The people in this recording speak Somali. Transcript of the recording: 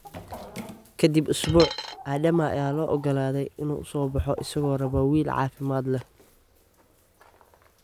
Ka dib usbuuc, Adama ayaa la oggolaadey in uu soo baxo isagoo raba wiil caafimaad leh.